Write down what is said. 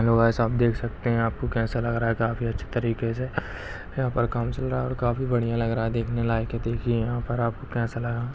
hello guys आप देख सकते हैं आपको कैसा लग रहा हैं काफी अच्छे तरीके से यहाँ पर काम चल रहा हैंऔर काफी बढ़िया लग रहा हैं देखने लायक हैं देखिए आप यहाँ पर आपको कैसा लगा--